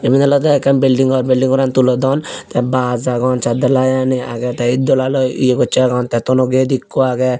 iyen olode ekkan building gor building goran tulodon te baj agon saat dalai aani agey te ed dolaloi ye gocchen agon te tono gate ekko agey.